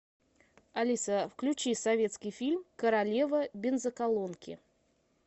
алиса включи советский фильм королева бензоколонки